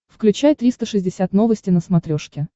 включай триста шестьдесят новости на смотрешке